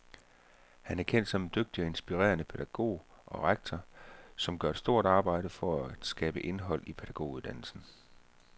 Han er kendt som en dygtig og inspirerende pædagog og rektor, som gør et stort arbejde for at skabe indhold i pædagoguddannelsen.